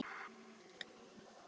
Ljósið það leiðir í bæinn.